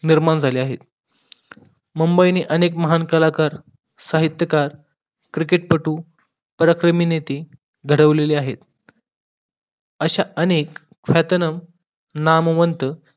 निर्माण झाले आहेत मुंबई ने अनेक महान कलाकार, साहित्यकार, क्रिकेटपटू, criminity घडवलेले आहेत अश्या अनेक ख्यातनाम, नामवंत